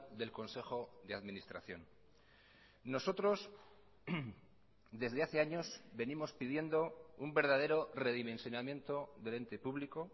del consejo de administración nosotros desde hace años venimos pidiendo un verdadero redimensionamiento del ente público